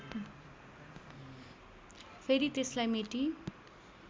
फेरि त्यसलाई मेटी